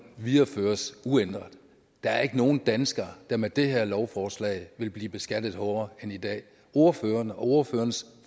videreføres uændret der er ikke nogen danskere der med det her lovforslag vil blive beskattet hårdere end i dag ordføreren og ordførerens